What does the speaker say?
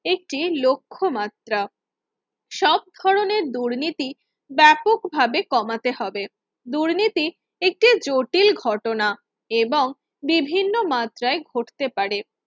একটি লক্ষ্য মাত্রা সব ধরনের দুর্নীতি ব্যাপকভাবে কমাতে হবে দুর্নীতি একটি জটিল ঘটনা এবং বিভিন্ন মাত্রায় ঘটতে পারে